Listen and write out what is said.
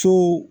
So